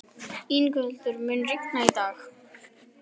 Yngveldur, mun rigna í dag?